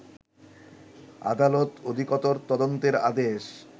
আদালত অধিকতর তদন্তের আদেশ